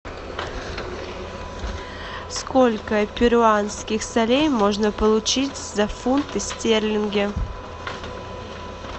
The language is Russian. сколько перуанских солей можно получить за фунты стерлинги